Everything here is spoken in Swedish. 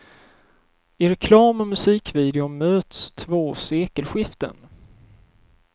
I reklam och musikvideo möts två sekelskiften.